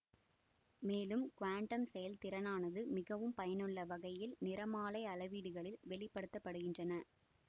மேலும் குவாண்டம் செயல்திறனானது மிகவும் பயனுள்ள வகையில் நிறமாலை அளவீடுகளில் வெளிப்படுத்த படுகின்றன